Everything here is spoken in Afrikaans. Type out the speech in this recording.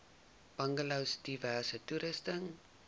bungalows diverse toerusting